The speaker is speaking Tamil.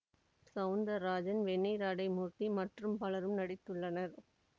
சௌந்தராஜன் வெண்ணிற ஆடை மூர்த்தி மற்றும் பலரும் நடித்துள்ளனர்